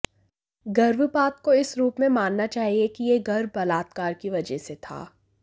गर्भपात को इस रूप में मानना चाहिए कि यह गर्भ बलात्कार की वजह से था